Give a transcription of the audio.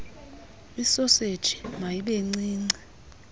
isoseji mayibe ncinci